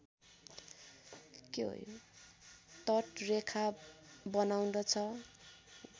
तट रेखा बनाउँदछ